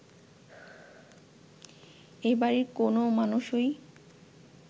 এ বাড়ির কোনও মানুষই